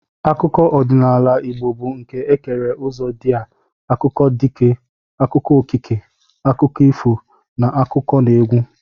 Akụkọ ọdịnala Igbo bụ nke e kere ụzọ ndị a: akụkọ dike, akụkọ okike, akụkọ ifo na n'akụkọneegwu